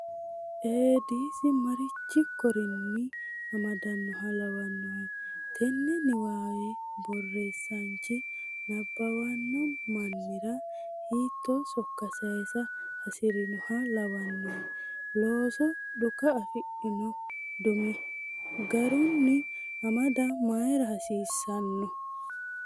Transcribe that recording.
Eedisi marichi korinni amadannoha lawannohe? Tenne niwaawe borreesaanchi nabbawanno mannira hiittoo sokka saysara hasi’rinoha lawannohe? Loosoho dhuka afidhinoti dume garunni amada mayra hasiissanno?